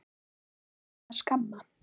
Ég ætti að skamm